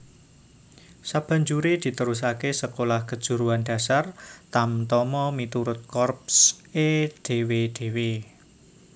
Sabanjuré diterusaké Sekolah Kejuruan Dasar Tamtama miturut korps é dhéwé dhéwé